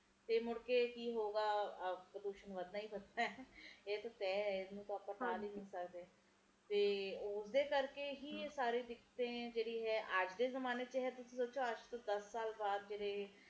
ਇਹ ਗੱਲ ਤਾ ਹੈ ਪਰ ਇੱਕਤਾ ਇਹ ਵੀ ਗੱਲ ਹੈ ਗਈ ਕਿ ਮੀਹ ਜਦੋ ਵੱਧ ਪੈਂਦਾ ਹੈ ਆਪਣੇ ਇਲਾਕਿਆਂ ਚ ਆਪਾ ਜਦੋ ਕਿਹਨੇ ਆ ਇੰਨਾ ਨਹੀਂ ਹੇਗਾ